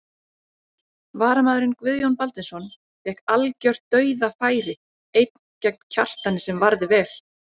Varamaðurinn Guðjón Baldvinsson fékk algjört dauðafæri einn gegn Kjartani sem varði vel.